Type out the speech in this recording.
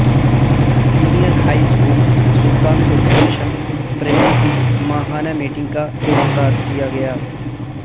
junior high school Sultanpur میں mission Prerna کی ماہانہ میٹنگ کا انعقاد کیا گیا